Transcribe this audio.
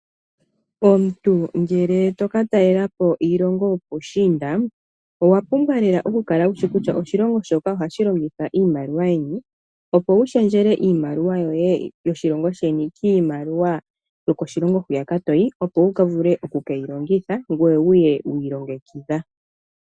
omuntu ngele toka talelapo iilongo yopushiinda, owa pumbwa oku kala wushi kutya oshilongo shoka oha shilongitha iimaliwa yini, opo wulundululile iimaliwa yo moshilingo shoye koshilingo hoka toyi opo wuvule oku ke yi longitha ngoye wu ye wu ilongekidha.